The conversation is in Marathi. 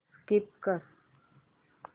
स्कीप कर